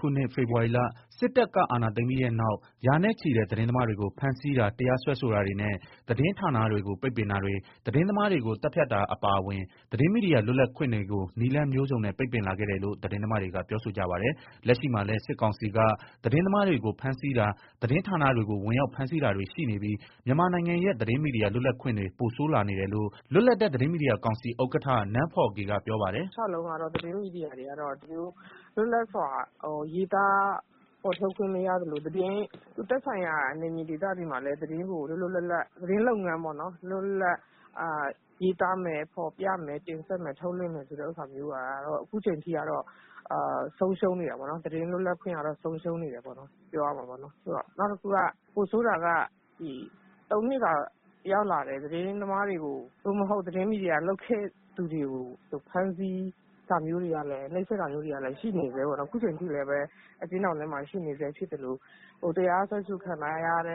ခုနှစ် ဖေဖော်ဝါရီလ စစ်တပ်က အာဏာသိမ်းပြီးနောက် ရာနဲ့ချီတဲ့ သတင်းမားတွေကို ဖမ်းဆီးတာတရားစွဲဆိုတာတွေနဲ့ သတင်းဌာနတွေကို ပိတ်ပင်တာတွေ၊ သတင်းသမားတွေကို သတ်ဖြတ်တာအပါအဝင် သတင်းမီဒီယာလွတ်လပ်ခွင့်တွေကို နည်းလမ်းမျိုးစုံနဲ့ ပိတ်ပင်လာခဲ့တယ်လို့ သတင်းသမားတွေက ပြောဆိုကြပါတယ်။ လက်ရှိမှာလည်း စစ်ကောင်စီက သတင်းသမားတွေကို ဖမ်းဆီးတာတွေ သတင်းဌာန တွေကိုဝင်ရောက်ဖမ်းဆီးတာတွေ ရှိနေပြီး မြန်မာနို်င်ငံရဲ့ သတင်းမီဒီယာ လွတ်လပ်ခွင့်တွေ ပိုဆိုးလာနေတယ်လို့ လွတ်လပ်တဲ့ သတင်းမီဒီယာကောင်စီ ဥက္ကဋ္ဌနန်းဖောဂေ ကပြောပါတယ်။ “ တလျောက်လုံးကတော့ သတင်းမီဒီယာတွေကတော့ လွတ်လပ်စွာရေးသား ဖော်ပြခွင့်မရသလို သက်ဆိုင်ရာဒေသတွေမှာလည်း သတင်းလုပ်ငန်းကို လွတ်လွတ်လပ်လပ်၊ ရေးသား ဖော်ပြ ထုတ်လွင့်မယ်ဆိုတဲ့ဟာတွေက အခုအချိန်ထိကတော့ ဆုံးရှုံးနေတယ်ပေါ့နော်၊ သတင်းလွတ် လပ်ခွင့်ဆုံးရှုံးနေတယ်။ နောက်တခုက ပိုဆိုးတာက ၃နှစ်သာ ရောက်လာတယ် သတင်းမီဒီယာတွေ သတင်းသမားလုပ်ခဲ့သူတွေကို ဖမ်းဆီး နိုပ်စက်တာမျိုးတွေကလည်း ရှိနေဆဲပေါ့နော် အခုအချိန်ထိလည်း အကျဉ်းထောင်ထဲမှာ ရှိနေဆဲဖြစ်သလို တရားစွဲ ခံရတာ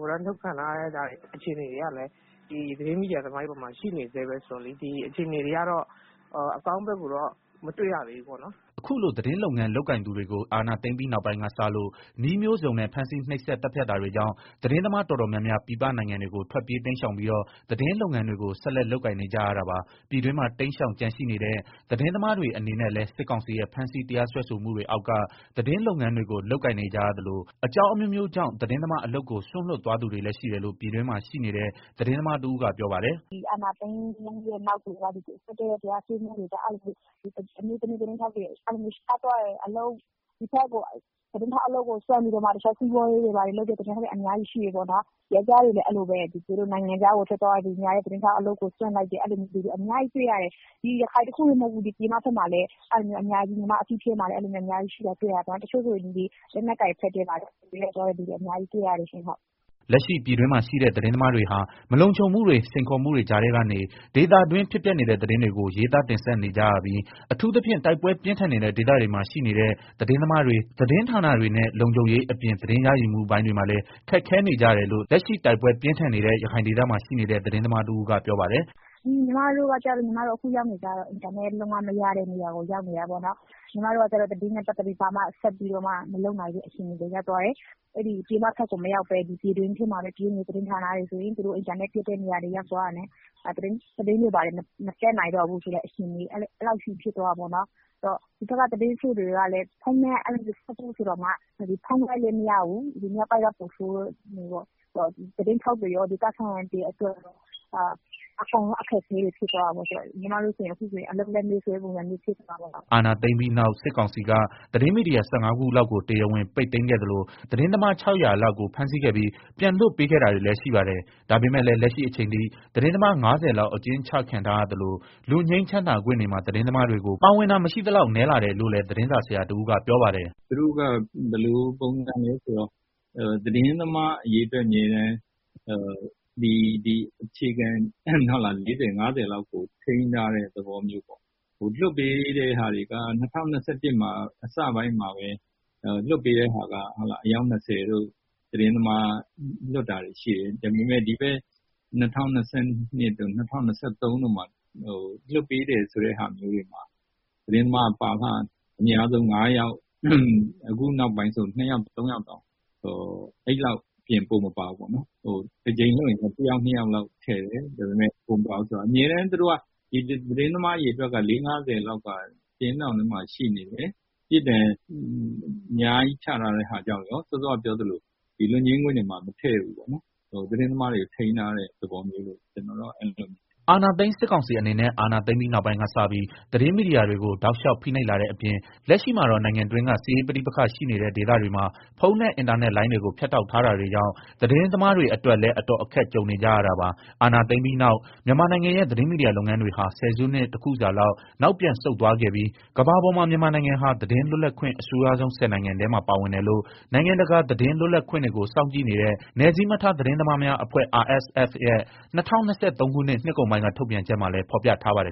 ဝရမ်းထုတ်ခံရတဲ့ အခြေအနေတွေကလည်း သတင်းမီဒီယာသမားတွေပေါ်မှာ ရှိနေဆဲပဲဆိုတော့လေ အခြေအနေတွေက အကောင်းဘက်ကို မတွေ့ရသေးဘူးပေါ့နော်။” အခုလို သတင်းလုပ်ငန်းလုပ်ကိုင်သူတွေကို အာဏာသိမ်းပြီးနောက်ပိုင်းကစလို့ နည်းမျိုးစုံနဲ့ ဖမ်းဆီး နှိပ်စက်သတ်ဖြတ်တာတွေကြောင့် သတင်းသမားတော်တော်များများ ပြည်ပနိုင်ငံတွေကို ထွက်ပြေးတိမ်ရှောင်ပြီးတော့ သတင်းလုပ်ငန်းတွေကို ဆက်လက်လုပ်ကိုင်နေကြ ရတာပါ။ ပြည်တွင်းမှာ တိမ်းရှောင်ကျန်ရှိနေတဲ့ သတင်းသမားတွေအနေနဲ့လည်း စစ်ကောင်စီရဲ့ ဖမ်းဆီးတရားစွဲဆိုမှုတွေအောက်က သတင်းလုပ်ငန်းတွေကို လုပ်ကိုင်နေကြရသလို အကြောင်းအမျိုးအမျိုးကြောင့် သတင်းသမားအလုပ်ကို စွန့်လွှတ်သွားသူတွေလည်း ရှိတယ်လို့ ပြည်တွင်းမှာရှိနေတဲ့ သတင်းသမားတဦးကပြောပါတယ်။ “ အာဏာသိမ်းပြီးနောက်ပိုင်းမှာ စစ်တပ်ရဲ့ ဖမ်းဆီးတရားစွဲတာတွေကြောင့် အမျိုးသမီး သတင်းထောက်တွေ ရှားသွားတယ်၊ သတင်းထောက်အလုပ်ကို စွန့်ပြီးတော့ မှ တခြားစီးပွား ရေးတွေ ဘာတွေလုပ်သွားတဲ့ သတင်းထောက်တွေ အများကြီးရှိတယ်ပေါ့နော်၊ ယောကျာ်း တွေလည်း အဲလိုပဲ နိုင်ငံခြားကို ထွက်သွားသူတွေနဲ့ သတင်းထောက်အလုပ်ကို စွန့်သွားကြ တယ်၊ အများကြီးတွေ့ရတယ် ရခိုင်တခုတည်းမဟုတ်ဘူး တနိုင်ငံမှာရှိတယ်။ ညီမအသိတွေလည်း အများကြီးပဲ တချို့ဆိုရင် လက်နက်ကိုင်သွားတာတွေတောင်ရှိတယ်။” လက်ရှိပြည်တွင်းမှာ ရှိနေတဲ့ သတင်းသမားတွေဟာ မလုံခြုံမှုတွေ စိန်ခေါ်မှုတွေကြားထဲကနေ ဒေသတွင်း ဖြစ်ပျက်နေတဲ့ သတင်းတွေကို ရေးသားတင်ဆက်နေကြရပြီး အထူးသဖြင့် တိုက်ပွဲပြင်းထန်နေတဲ့ ဒေသတွေမှာ ရှိနေတဲ့ သတင်းသမားတွေ၊ သတင်းဌာနတွေနဲ့ လုံခြုံရေးအပြင် သတင်းရယူမှုပိုင်းတွေမှာလည်း ခက်ခဲနေကြတယ်လို့ လက်ရှိတိုက်ပွဲပြင်းထန်နေတဲ့ ရခိုင်ဒေသမှာ ရှိနေတဲ့ သတင်းသမားတဦးကပြောပါတယ်။ “ ညီမတို့ အခုရောက်နေတာက အင်တာနက်လုံးဝမရတဲ့ နေရာပေါ့နော်၊ ညီမတို့က သတင်းနဲ့ ပတ်သက်ပြီးတော့ ဘာမှဆက်လုပ်လို့မရတဲ့ အခြေအနေကို ရောက်သွားတယ်၊ ပြည်ပကို မရောက်ပဲ ပြည်တွင်းထဲမှာပဲ ပြေးနေတဲ့ သတင်းဌာနာတွေဆိုရင်လည်း အင်တာနက်မရတာ ကြောင့် သတင်းမတင်ဆက်နို််င်တော့ဘူး။ ဒီမှာက ဖုန်းလိုင်းလည်းမရဘူး ရခိုင်မြောက်ပိုင်းက ပိုဆိုးတယ်ပေါ့၊ သတင်းထောက်တွေရော ဒေသခံတွေအတွက်ပါ အကုန်လုံးအခက်အခဲ တွေဖြစ် သွားတာပေါ့။ ညီမတို့အခုဆိုရင် အလုပ်လက်မဲ့ပုံစံဖြစ်နေတယ်။ ” အာဏာသိမ်းပြီးနောက် စစ်ကောင်စီက သတင်းမီဒီယာ ၁၅ခုလောက်ကို တရားဝင် ပိတ်သိမ်းခဲ့သလို သတင်းသမား ၆ဝဝလောက်ကို ဖမ်းဆီးခဲ့ပြီး ပြန်လွှတ်ပေးခဲ့တာတွေလည်းရှိပါတယ်။ ဒါပေမယ့်လည်း လက်ရှိအချိန်ထိ သတင်းသမား ၅ဝလောက် အကျဉ်းချခံထားသလို လွတ်ငြိမ်းချမ်းသာခွင့်တွေမှာ သတင်းသမားတွေကို ပါဝင်တာ မရှိသလောက်နည်းလာတယ်လို့လည်း သတင်းစာ ဆရာတဦးကပြောပါတယ်။ “ သူတို့က သတင်းသမားအရေအတွက် အခြေခံ ၄၀၊ ၅ဝလောက်ကို ထိန်းထားတဲ့ သဘောမျိုး ပေါ့၊ လွတ်ပေးတဲ့ဟာတွေက ၂၁၂၁ အစပိုင်းမှာပဲ အယောက် ၂ဝတို့ လွတ်တာတွေရှိတယ်၊ ဒါပေမယ့် ဒီဘက် ၂၀၂၂တို့ ၂၀၂၃ တို့မှာ လွတ်ပေးတဲ့ ဆိုတဲ့ ဟာမျိုးတွေမှာ သတင်းသမားက ပါရင် အများဆုံး ၅ယောက်၊ အခုနောက်ပို်င်းဆိုရင် ၂ယောက် ၃ယောက်တောင် မပါတော့ဘူး၊ အမြဲတမ်းသူတို့က သတင်းသမားအရေအတွက်က ၅ဝလောက်က အကျဉ်းထောင်ထဲမှာ ရှိနေတယ်၊ ပြစ်ဒဏ်အများကြီးချထားတဲ့ဟာကြောင့်ရော၊ စောစောကပြောသလို လွတ်ငြိမ်းခွင့်တွေမှာ မထည့်ဘူး သတင်းသမားတွေကို ထိန်းထားတဲ့ သဘောမျိုးလို့မြင်တယ်။” အာဏာသိမ်းစစ်ကောင်စီအနေနဲ့ အာဏာသိမ်းပြီးနောက်ပိုင်းကစပြီး သတင်းမီဒီယာတွေကို တောက်လောျာက်ဖိနိိုပ်လာတဲ့အပြင် လက်ရှိမှာတော့ နို်င်ငံအတွင်းက စစ်ရေးပဋိပက္ခာရှိနေတဲ့ ဒေသတွေမှာ ဖုန်းနဲ့ အင်တာနက်လိုင်းတွေကို ဖြတ်တောက်ထားတာတွေကြောင့် သတင်းသမားတွေအတွက်လည်း အတော်အခက်ကြုံ နေကြရတာပါ။ အာဏာသိမ်းပြီးနောက် မြန်မာနို်င်ငံရဲ့ သတင်းမီဒီယာလုပ်ငန်းတွေဟာ ဆယ်စုနှစ် တခုစာ လောက် နောက်ပြန်ဆုတ်သွားခဲ့ပြီး ကမ္ဘာပေါ်မှာ မြန်မာနိုင်ငံဟာ သတင်းလွတ်လပ်ခွင့် အဆိုးရွားဆုံး ၁ဝနိုင်ငံထဲမှာပါဝင်တယ်လို့ နိုင်ငံတကာသတင်းလွတ်လပ်ခွင့်တွေကို စောင့်ကြည့်နေတဲ့ နည်းစည်းမထား သတင်းသမားများအဖွဲ့ RSFရဲ့ ၂၀၂၃ ခုနှစ် နှစ်ကုန်ပိုင်းတုန်းက ထုတ်ပြန်ချက်မှာလည်း ဖော်ပြထားပါတယ်